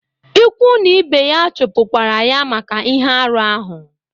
Ukwu na ibe ya chupukwara ya maka ihe arụ ahụ.